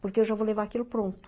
Porque eu já vou levar aquilo pronto.